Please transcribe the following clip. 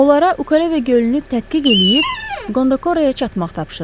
Onlara Ukare və gölünü tədqiq eləyib, Qondakoraya çatmaq tapşırılıb.